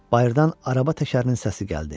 Bayırdan araba təkərinin səsi gəldi.